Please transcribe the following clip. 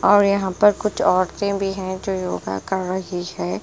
और यहाँ पर कुछ औरतें भी हैं जो योगा कर रही है।